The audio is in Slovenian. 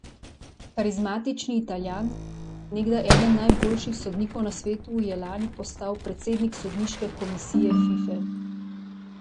Karizmatični Italijan, nekdaj eden najboljših sodnikov na svetu, je lani postal predsednik sodniške komisije Fife.